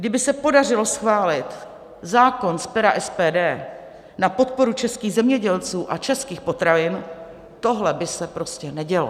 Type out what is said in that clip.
Kdyby se podařilo schválit zákon z pera SPD na podporu českých zemědělců a českých potravin, tohle by se prostě nedělo.